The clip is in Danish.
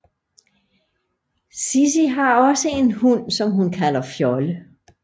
Sissi har også en hund som hun kalder Fjolle